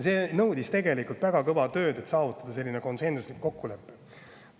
See nõudis väga kõva tööd, et selline konsensuslik kokkulepe saavutada.